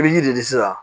I bɛ ji de sisan